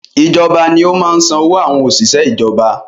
Ìjọba ní ó máa ń san owó àwọn òṣìṣẹ́ ìjọba